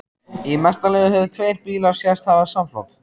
Í mesta lagi höfðu tveir bílar sést hafa samflot.